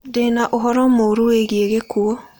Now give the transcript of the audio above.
Ndĩ na ũhoro mũũru wĩgiĩ gĩkuũ.